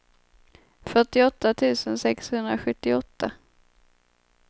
fyrtioåtta tusen sexhundrasjuttioåtta